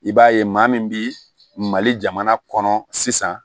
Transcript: I b'a ye maa min bi mali jamana kɔnɔ sisan